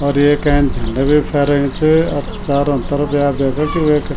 और येक एैंच झंडा बि फैरेयूं च अर चारो तरफ या देखा कि वेका --